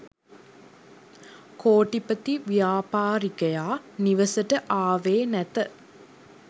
කෝටිපති ව්‍යාපාරිකයා නිවසට ආවේ නැත